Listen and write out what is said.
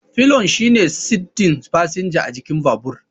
Pillion shine saddin fasinja a jikin babur.